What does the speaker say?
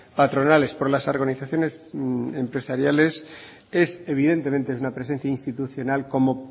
patronales por las organizaciones empresariales es evidentemente es una presencia institucional como